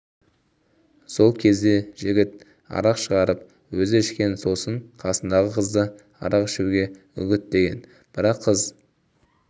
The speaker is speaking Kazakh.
сол кезде жігіт арақ шығарып өзі ішкен сосын қасындағы қызды арақ ішуге үгіттеген бірақ қыз